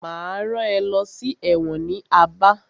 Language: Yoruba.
Máa rán ẹ lọ sí ẹ̀wọ̀n ní Aba.